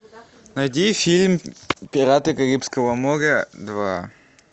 найди фильм пираты карибского моря два